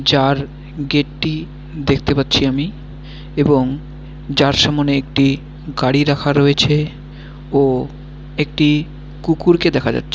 যার গেটটি দেখতে পাচ্ছি আমি এবং যার সামনে একটি গাড়ি রাখা রয়েছে ও একটি কুকুরকে দেখা যাচ--